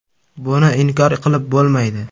Buni inkor qilib bo‘lmaydi.